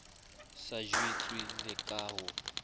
sa jwetswe le ka ho